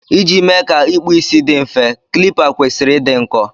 ị ji mee ka ịkpu isi dị mfe, kilipa kwesịrị ịdị nkọ